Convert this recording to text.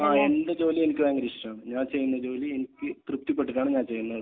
ആഹ്. എന്റെ ജോലി എനിക്ക് ഭയങ്കര ഇഷ്ടമാണ്. ഞാൻ ചെയ്യുന്ന ജോലി എനിക്ക് തൃപ്തിപ്പെട്ടിട്ടാണ് ഞാൻ ചെയ്യുന്നത്.